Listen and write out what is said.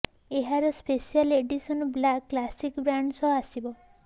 ଏହାର special edition black classic brand ସହ ଆସିବ